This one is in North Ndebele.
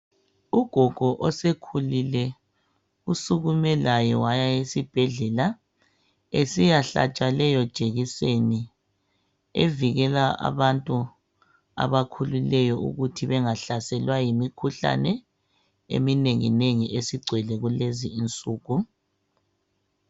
Ugogo osekhulile usukume laye waya esibhedlela esiyahlatshwa leyo jekiseni evikela abantu abakhulileyo ukuthi bengahlaselwa yimikhuhlane eminengi nengi esigcwele kulezi insuku.